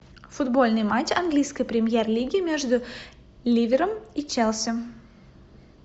футбольный матч английской премьер лиги между ливером и челси